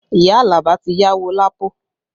Iya Alaba ti yáwó Lapo